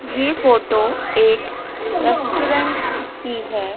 ये फोटो एक रेस्टोरेंट की है।